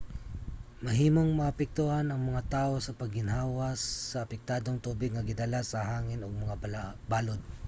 mahimong maapektuhan ang mga tawo sa pag-ginhawa sa apektadong tubig nga gidala sa hangin ug mga balod